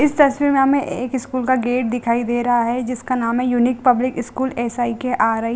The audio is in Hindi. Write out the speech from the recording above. इस तस्वीर में हमें एक स्कूल का गेट दिखाई दे रहा है जिसका नाम है unique public school S I K R I.